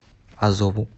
азову